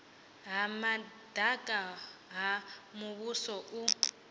ha madaka ha muvhuso u